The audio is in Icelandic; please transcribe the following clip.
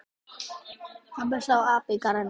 Pabbi sá apa í garðinum.